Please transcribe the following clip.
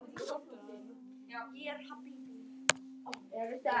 Jörðin er móðir þess og faðir.